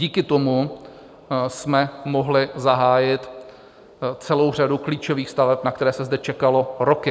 Díky tomu jsme mohli zahájit celou řadu klíčových staveb, na které se zde čekalo roky.